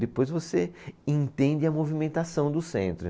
Depois você entende a movimentação do centro.